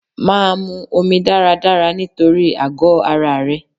Máa mu omi dáradára nítorí àgọ ara rẹ.